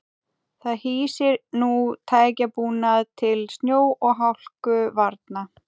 Það hýsir nú tækjabúnað til snjó og hálkuvarna.